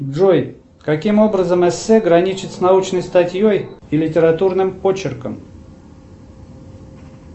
джой каким образом эссе граничит с научной статьей и литературным очерком